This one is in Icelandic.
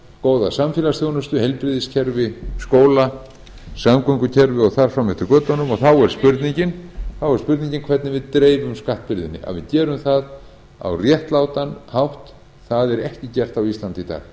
góða samfélagsþjónustu heilbrigðiskerfi skóla samgöngukerfi og þar fram eftir götunum þá er spurningin hvernig við dreifum skattbyrðinni að við gerum það á réttlátan hátt það er ekki gert á íslandi